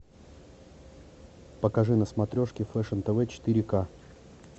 покажи на смотрешке фэшн тв четыре ка